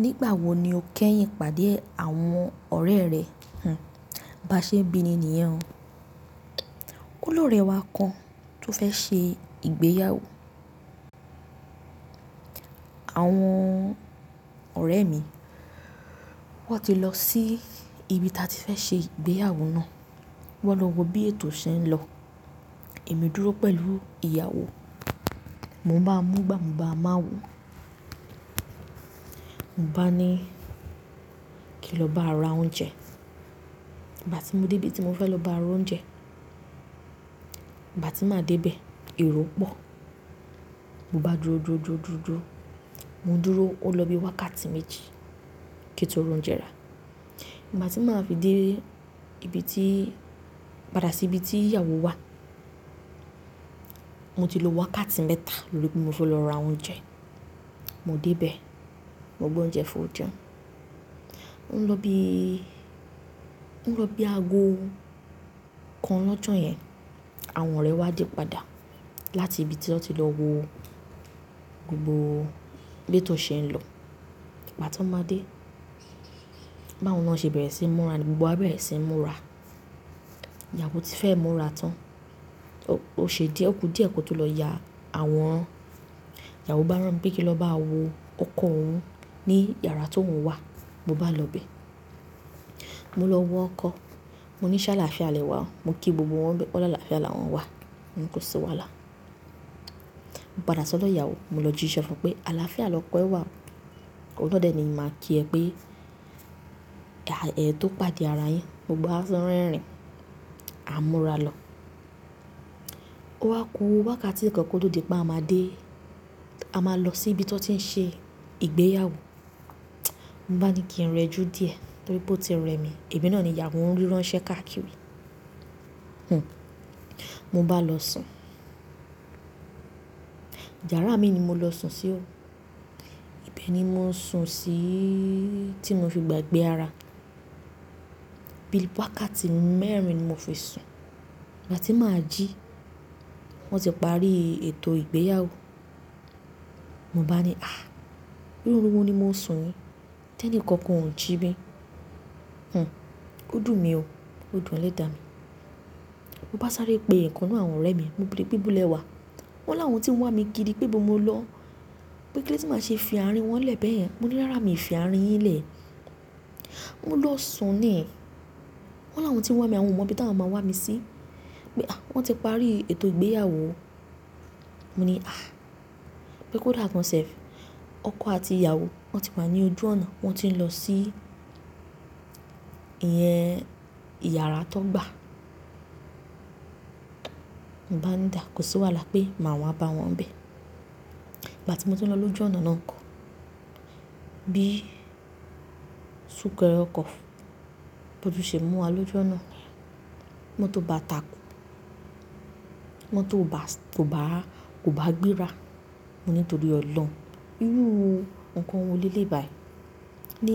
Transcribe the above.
Nígbà wo ni o kẹ́yìn pàdé àwọn ọ̀rẹ́ rẹ? Hmn, bá ṣe n bíni nìyẹn o. Ó lóre wa kan tó fẹ́ ṣe ìgbéyàwó. Àwọn ọ̀rẹ́ mi wọ́n ti lọ sí ibi ta ti fẹ́ ṣe ìgbéyàwó náà. Wọ́n lọ wo bí ètò ṣe ń lọ. Èmi dúró pẹ̀lú ìyàwó. Mo ń bá múgba, mo ń bá máa wò. Mo bá ni kí n lọ bára oúnjẹ. Ìgbà tí mo dé bí tí mo fẹ́ lọ bá r'oúnjẹ, ìgbà tí màá dé bẹ̀, èrò pọ̀. Mo bá dúró, dúró, dúró, dúró, dúró. Mo dúró ó lọ bí wákàtí méjì kí n tó r'oúnjẹ ra. Ìgbà tí màá fi dé ibi tí-- padà sí ibi tí ìyàwó wà, mo ti lo wákàtí mẹ́ta lórí pe mo fẹ́ lọ ra oúnjẹ. Mo dé bẹ̀, mo gbé oúnjẹ fún, ò jẹun. Oun lọ bíi, oun lọ bíi aago kan lọ́jọ́ yẹn àwọn ọ̀rẹ́ wa dé padà láti ibi tí wọ́n ti lọ wo gbogbo b'ètò ṣe ń lọ. Ìgbà tan máa dé, báwọn náà ṣe bẹ̀rẹ̀ sí i múra ní gbogbo wa bẹ̀rẹ̀ sí i múra. Ìyàwó ti fẹ́e múra tán. O ṣe díẹ̀, ó kú díẹ̀ kó tó lọ ya àwọn ìyàwó bá rán mi pé kí lọ báa wo ọkọ̀ òun ní yàrá t'óun wà. Mo bá lọ bẹ̀. Mo lọ wo ọkọ̀. Mo ní ṣála, ṣa à lè wa o? Mo kí gbogbo wọn ń bẹ̀, wọ́n ni àlàáfíà la wọ́n wá. Mò ni kó sí wàhálà. Mo padà sọ dọ́ ìyàwó. Mo lọ jíṣẹ́ fún un pé aláfíà lọ́kọ ẹ wà o. Óun náà de ni ẹ́ ni n máa kí ẹ pé, ẹ̀ ẹ tó pàdé ara yín, gbogbo wa tún rẹ́rìn. A múra lọ. Ó wá kù wákàtí kan kó tó di pé a máa dé. A máa lọ sí ibi tí wọ́n ti ń ṣe ìgbéyàwó. Mo bá ni kí n rẹ jù díẹ̀ torí pé ó ti rẹ mí. Èmi náà ni ìyàwó ń ríran ṣẹ́ káàkiri. Hmn, mo bá lọ sùn. Yàrá mii ni mo lọ sùn sí o. Ibẹ̀ ni mo sùn síi tí mo fi gbàgbé ara. Bí i wákàtí mẹ́rin ni mo fi sùn. Ìgbà tí màá jí, wọ́n ti parí ètò ìgbéyàwó. Mo bá ni, àh! Irú òrun wo ni mo sùn yi? T'ẹ́ní kankan ò jí mi. Hmm, ó dùn mi o. Ó dùn elẹ́dà mi. Mo bá sáré pe ìkan n nú àwọn ọ̀rẹ́ mi. Mo béèrè pé, ibo lẹ́ wá? Wọ́n lá wọn tí ń wá mi kiri pé bo mo lọ? Pé kí ló de ti máa ṣe fi ààrin wọn lè bẹ́yen? Mo ní, "rárá, mi ò fi ààrín yín lè." Mo lọ sùn ní. Wọ́n là woń ti ń wá mi, àwọn ọmọ bí ta wọn máa wá mi sí. Pé "àh! Wọ́n ti parí ètò ìgbéyàwó o." Mo ní àh! Pé "kò dà gán self". Ọkọ àti ìyàwó, wọ́n ti wá ní ojú ọ̀nà. Wọ́n ti ń lọ sí ìyẹn yàrá tan gbà. Mo bá ń dà, kò sí wàhálà pé màá wá bá wọn ń bẹ̀. Ìgbà tí mo tún ń lọ lọ́ju ọ̀nà náà nkọ́, bí sunkere ọkọ̀ bó tún ṣe mú wa lọ́ju ọ̀nà. Motó bá takù. Mo tó bá, tó bá, kò bá gbéra. Mo ní torí ọlọ́run. Irú nǹkan wo lele yi bàyií ní?